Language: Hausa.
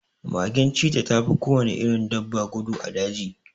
Magen cita tafi kowane irin dabba gudu a daji